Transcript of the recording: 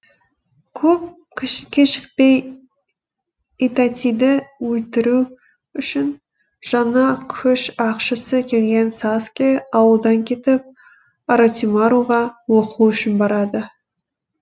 көп кешікпей итатиді өлтіру үшін жаңа күш ашқысы келген саскэ ауылдан кетіп оротимаруға оқу үшін барады